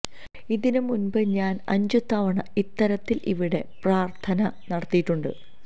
ഇതിന് മുന്പ് ഞാന് അഞ്ചു തവണ ഇത്തരത്തില് ഇവിടെ പ്രാര്ഥന നടത്തിയിട്ടുണ്ട്